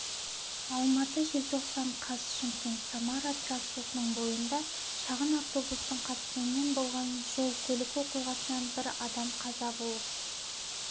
алматы желтоқсан қаз шымкент-самара трассасының бойында шағын автобустың қатысуымен болған жол-көлік оқиғасынан бір адам қаза болып